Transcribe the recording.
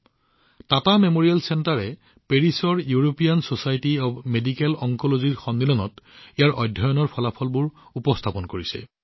Tata Memorial কেন্দ্ৰই পেৰিছত European Society of Medical Oncology সন্মিলনত ইয়াৰ অধ্যয়নৰ ফলাফল উপস্থাপন কৰিছে